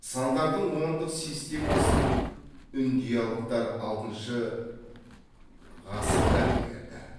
сандардың ондық системасын үндиялықтар алтыншы ғасырда игерді